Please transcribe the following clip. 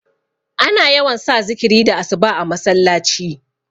ana yawan sa zikiri da asuba a masallaci